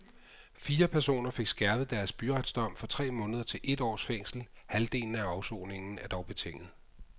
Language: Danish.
Fire personer fik skærpet deres byretsdom fra tre måneder til et års fængsel, halvdelen af afsoningen er dog betinget.